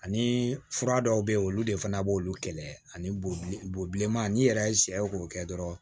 Ani fura dɔw be yen olu de fana b'olu kɛlɛ ani bol bilenman n'i yɛrɛ ye sɛw k'o kɛ dɔrɔn